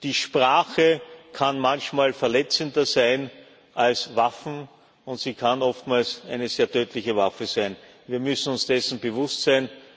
die Sprache kann manchmal verletzender sein als Waffen, und sie kann oftmals eine sehr tödliche Waffe sein. Wir müssen uns dessen bewusst sein.